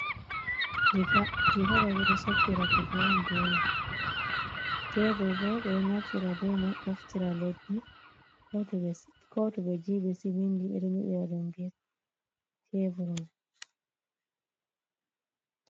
Diga, diga ɗo ɓe ɗo soppira kuje on be man, tebur bo ɓe ɗo naftira be may ɓoftira leddi. Ko to ɓe giiɓi siminti, ɓe ɗo nyeɗiraɗum be cevur may.